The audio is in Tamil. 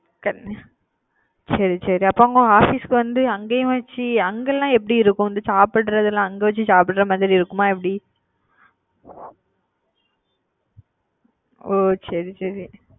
செரி செரி அப்ப உங்க office வந்து அங்க வச்சு அங்க லாம் எப்படி இருக்கும் இந்த சாப்டுர தெல்லாம் அங்க வச்சு சாப்டுற மாதிரி இருக்குமா எப்படி ஒ சரி சரி